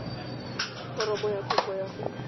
foromo ya kopo ya go